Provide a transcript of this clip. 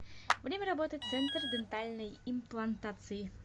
время работы центр дентальной имплантации